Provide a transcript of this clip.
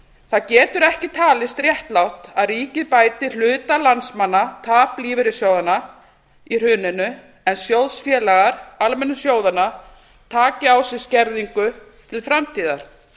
það getur ekki talist réttlátt að ríkið bæti hluta landsmanna tap lífeyrissjóðanna í hruninu en sjóðfélagar almennu sjóðanna taki á sig skerðingu til framtíðar það